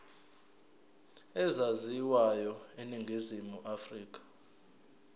ezaziwayo eningizimu afrika